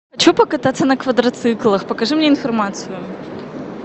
хочу покататься на квадроциклах покажи мне информацию